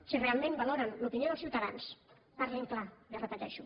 si realment valoren l’opinió dels ciutadans parlin clar li ho repeteixo